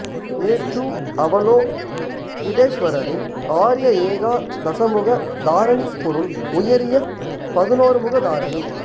எ டு அவலோகிதேஷ்வரரின் ஆர்ய ஏகா தசமுக தாரணிபொருள் உயரிய பதினோருமுக தாரணி